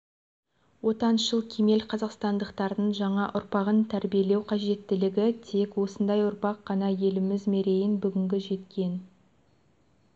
отаншыл кемел қазақстандықтардың жаңа ұрпағын тәрбиелеу қажеттілігі тек осындай ұрпақ қана еліміз мерейін бүгінгі жеткен